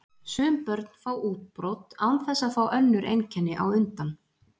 Sum börn fá útbrot án þess að fá önnur einkenni á undan.